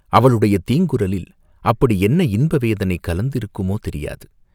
அவளுடைய தீங்குரலில் அப்படி என்ன இன்ப வேதனை கலந்திருக்குமோ, தெரியாது!